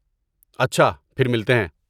اچھا، پھر ملتے ہیں۔